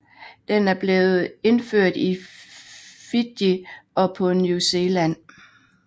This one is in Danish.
Den er blevet indført i Fiji og på New Zealand